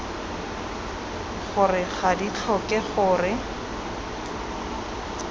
gore ga di tlhoke gore